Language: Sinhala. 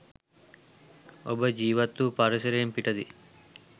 ඔබ ජීවත්වූ පරිසරයෙන් පිටදී